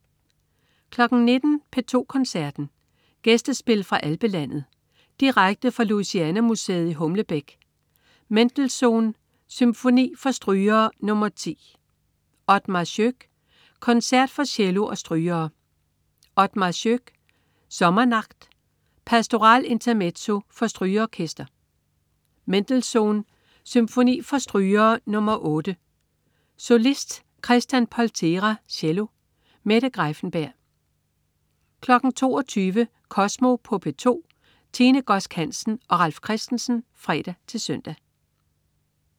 19.00 P2 Koncerten. Gæstespil fra Alpelandet. Direkte fra Louisiana Museet i Humlebæk. Mendelssohn: Symfoni for strygere nr. 10. Othmar Schoeck: Concert for cello og strygere. Othmar Schoeck: Sommernacht. Pastoral Intermezzo for strygeorkester. Mendelssohn: Symfoni for strygere nr. 8. Solist: Christian Poltéra cello. Mette Greiffenberg 22.00 Kosmo på P2. Tine Godsk Hansen og Ralf Christensen (fre-søn)